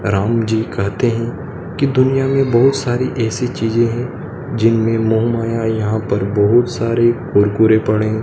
राम जी कहते हैं कि दुनिया में बहुत सारी ऐसी चीज हैं जिनमें मोह माया यहां पर बहुत सारे कुरकुरे पड़े--